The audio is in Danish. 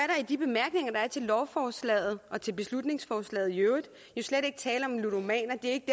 i de bemærkninger der er til lovforslaget og til beslutningsforslaget jo slet ikke tale om ludomaner det